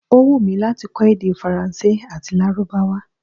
Ó wùnmí láti kọ́ èdè Faransé àti Lárúbáwá